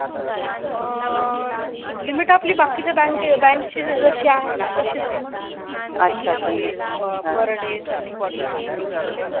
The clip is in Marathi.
अं limit आपली बाकीच्या बँक ची जशी आहे ना तशीच आहे कि per day thirty forty something निघतात.